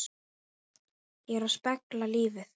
Ég er að spegla lífið.